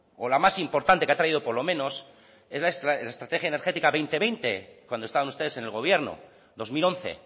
o la más importante que ha traído por lo menos es la estrategia energética dos mil veinte cuando estaban ustedes en el gobierno dos mil once